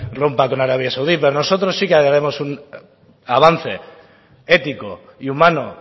rompa con arabia saudí pero nosotros sí que debemos un avance ético y humano